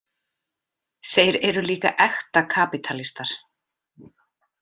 Þeir eru líka ekta kapítalistar.